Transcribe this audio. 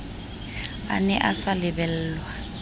a ne a sa lebellwa